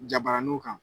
Jabaraninw kan